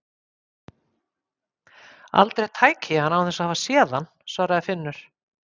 Aldrei tæki ég hann án þess að hafa séð hann svaraði Finnur.